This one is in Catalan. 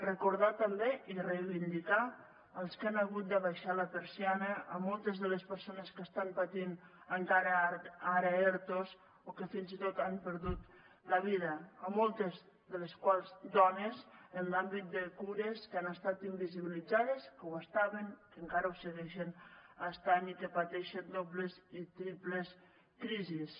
recordar també i reivindicar els que han hagut d’abaixar la persiana moltes de les persones que estan patint encara ara ertos o que fins i tot han perdut la vida moltes de les quals dones en l’àmbit de cures que han estat invisibilitzades que ho estaven que encara ho segueixen estant i que pateixen dobles i triples crisis